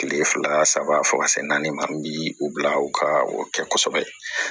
Kile fila saba fo ka se naani ma min bi u bila u ka o kɛ kosɛbɛ